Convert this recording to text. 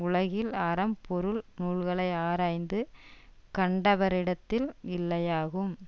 உலகில் அறம் பொருள் நூல்களை ஆராய்ந்து கண்டவரிடத்தில் இல்லையாகும்